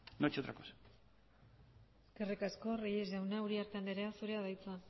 no ha hecho otra cosa eskerrik asko reyes jauna uriarte andrea zurea da hitza